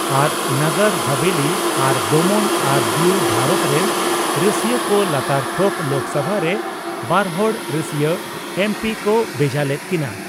ᱟᱨ ᱱᱟᱜᱟᱨ ᱦᱟᱵᱷᱮᱹᱞᱤ ᱟᱨ ᱫᱚᱢᱚᱱ ᱟᱨ ᱫᱤᱭᱩ ᱵᱷᱟᱨᱚᱛ ᱨᱮᱱ ᱨᱟᱹᱥᱭᱟᱹ ᱠᱚ ᱞᱟᱛᱟᱨ ᱛᱷᱚᱠ ᱞᱳᱠᱥᱚᱵᱷᱟ ᱨᱮ ᱵᱟᱨᱦᱚᱲ ᱨᱟᱹᱥᱭᱟᱹ (ᱮᱢᱹᱯᱤ) ᱠᱚ ᱵᱷᱮᱡᱟ ᱞᱮᱫ ᱠᱤᱱᱟ ᱾